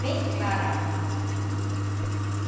Dei clara à água, sabe?